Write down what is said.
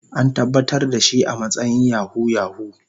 An tabbatar da shi a matsayin Yahoo yahoo.